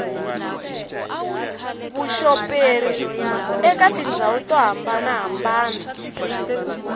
vuxoperi eka tindhawu to hambanahambana